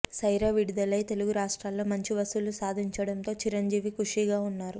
సైరా విడుదలై తెలుగు రాష్ట్రాలలో మంచి వసూళ్లు సాధించడంతో చిరంజీవి ఖుషీగా ఉన్నారు